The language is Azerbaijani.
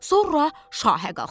Sonra şahə qalxdı.